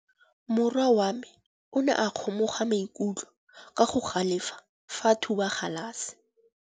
Morwa wa me o ne a kgomoga maikutlo ka go galefa fa a thuba galase.